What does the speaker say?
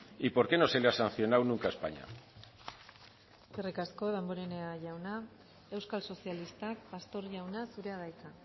y por qué no se le ha sancionado nunca a españa eskerrik asko damborenea jauna euskal sozialistak pastor jauna zurea da hitza